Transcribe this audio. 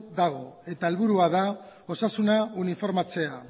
dago eta helburua da osasuna uniformatzea